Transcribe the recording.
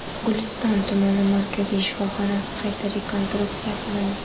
Guliston tumani markaziy shifoxonasi qayta rekonstruksiya qilindi.